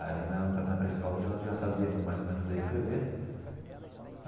Aí, na na pré-escola, eu já já sabia mais ou menos ler e escrever.